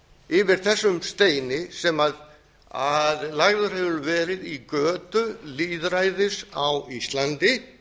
yfir þessum steini sem lagður hefur verið í götu lýðræðis á íslandi